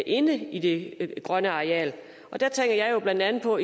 inde i det grønne areal og der tænker jeg jo blandt andet på